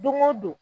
Don o don